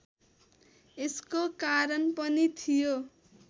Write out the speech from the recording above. यसको कारण पनि थियो